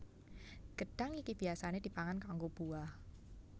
Gedhang iki biyasané dipangan kanggo buah